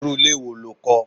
Irú ilé wo lo kó?